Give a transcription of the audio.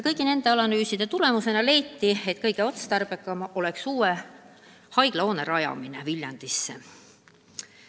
Kõigi nende analüüside tulemusena leiti, et kõige otstarbekam on ehitada Viljandisse uus haiglahoone.